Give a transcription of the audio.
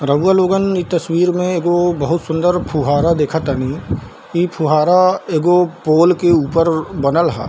रउवा लोगन इ तस्वीर में एगो बहुत ही सूंदर फुहारा देखअ तनी इ फुहारा एगो पोल के ऊपर बनल हअ।